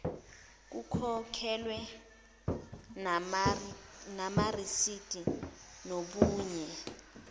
lokhokhelwe namarisidi nobunye